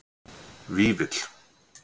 Vífill